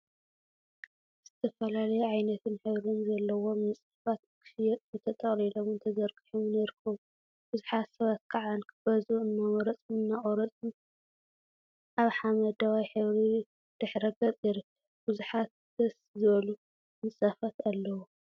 ዝተፈላለዩ ዓይነትን ሕብሪን ዘለዎም ምንፃፋት ንክሽየጡ ተጠቅሊሎምን ተዘርጊሖምን ይርከቡ፡፡ ብዙሓት ሰባት ከዓ ንክገዝኡ እናመረፁን እናቆረፁን አብ ሓመደዋይ ሕብሪ ድሕረ ገፅ ይርከብ፡፡ ቡዙሓት ደስ ዝብሉ ምንፃፋት አለው፡፡